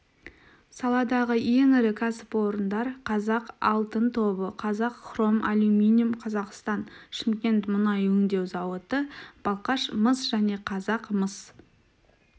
саладағы ең ірі кәсіпорындар қазақ алтын тобы қазақ хром алюминиум қазақстан шымкент мұнай өңдеу зауыты балқаш мыс және қазақ мыс